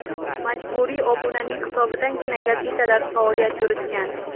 Majburiy obunaning hisobidangina gazetalar faoliyat yuritgan.